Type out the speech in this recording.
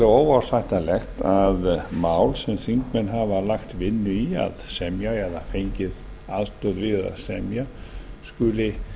óásættanlegt að mál sem þingmenn hafa lagt vinnu í að semja eða fengið aðstoð við að semja skuli